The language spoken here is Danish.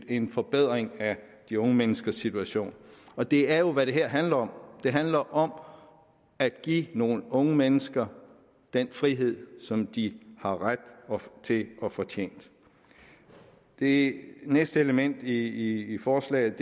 en forbedring af de unge menneskers situation og det er jo hvad det her handler om det handler om at give nogle unge mennesker den frihed som de har ret til og fortjent det næste element i forslaget